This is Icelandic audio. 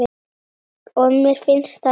Og mér finnst það gott.